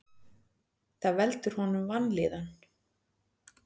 Það veldur honum vanlíðan.